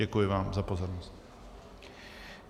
Děkuji vám za pozornost.